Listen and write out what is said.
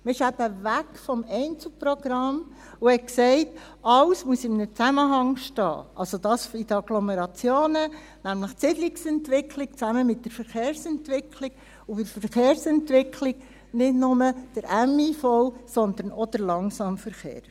Man ging eben weg vom Einzelprogramm und sagte: Alles muss in einem Zusammenhang stehen, das in den Agglomerationen, nämlich die Siedungsentwicklung zusammen mit der Verkehrsentwicklung, und bei der Verkehrsentwicklung nicht nur der motorisierte Individualverkehr (MIV), sondern auch der Langsamverkehr.